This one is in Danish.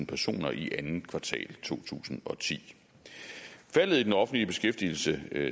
personer i andet kvartal to tusind og ti faldet i den offentlige beskæftigelse